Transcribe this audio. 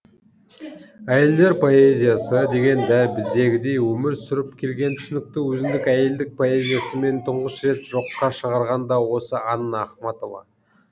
әйелдер поэзиясы деген дәл біздегідей өмір сүріп келген түсінікті өзіндік әйелдік поэзиясымен тұңғыш рет жоққа шығарған да осы анна ахматова